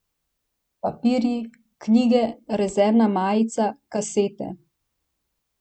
Papirji, knjige, rezervna majica, kasete.